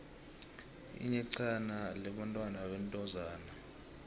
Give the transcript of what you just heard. iyexhana libnbathwa bentozana